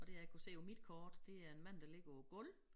Og det jeg kunne se på mit kort det er en mand der ligger på æ gulv